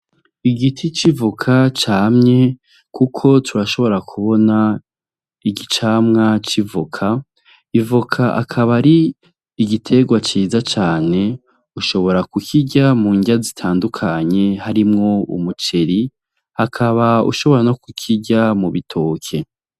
Igiti civoka camye, kuko turashobora kubona ikicamwa civoka ivoka akaba ari igitegwa ciza cane ushobora kukirya mu neya zitandukanye harimwo umuceri ukaba ushobora no kukirya mu bitoke.